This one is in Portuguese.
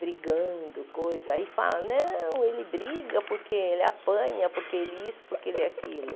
brigando, coisa, aí fala, não, ele briga porque ele apanha, porque ele isso, porque ele aquilo.